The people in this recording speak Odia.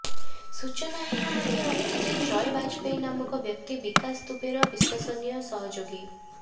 ସୂଚନା ଏହା ମଧ୍ୟ ରହିଛି ଯେ ଜୟ ବାଜପେୟୀ ନାମକ ବ୍ୟକ୍ତି ବିକାଶ ଦୁବେର ବିଶ୍ବସନୀୟ ସହଯୋଗୀ